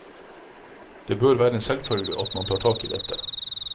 Det bør være en selvfølge at man tar tak i dette.